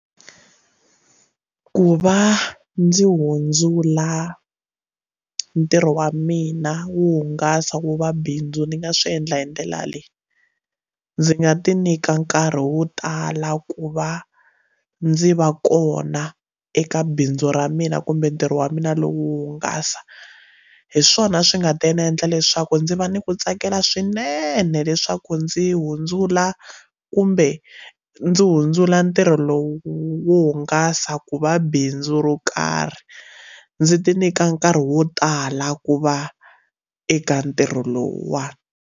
Ku va ndzi hundzula ntirho wa mina wo hungasa wu va bindzu ni nga swi endla hi ndlela leyi ndzi nga ti nyika nkarhi wo tala ku va ndzi va kona eka bindzu ra mina kumbe ntirho wa mina lowu hungasa hi swona swi nga ta ni endla leswaku ndzi va ni ku tsakela swinene leswaku ndzi hundzula kumbe ndzi hundzula ntirho lowu wo hungasa ku va bindzu ro karhi ndzi ti nyika nkarhi wo tala ku va eka ntirho lowuwani.